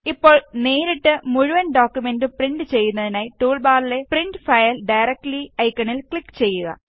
ഇപ്പോള് നേരിട്ട് മുഴുവന് ഡോക്കുമെന്റും പ്രിന്റ് ചെയ്യുന്നതിനായി ടൂള് ബാറിലെ പ്രിന്റ് ഫയല് ഡയറക്റ്റ്ലി ഐക്കണില് ക്ലിക് ചെയ്യുക